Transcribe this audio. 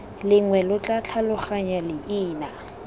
lengwe lo tla tlhaloganya leina